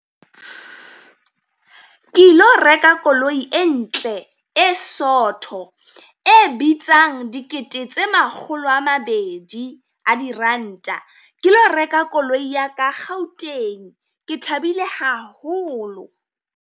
Ke e lo reka koloi e ntle e sotho, e bitsang dikete tse makgolo a mabedi a diranta, ke lo reka koloi ya ka Gauteng, ke thabile haholo.